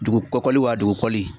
Dugukɔli wa dugukɔli